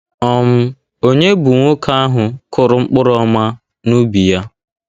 um Ònye bụ nwoke ahụ kụrụ mkpụrụ ọma n’ubi ya?